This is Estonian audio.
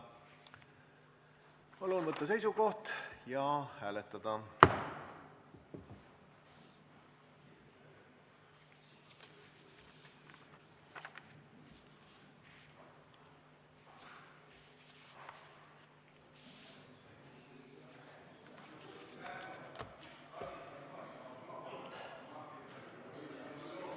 Palun võtta seisukoht ja hääletada!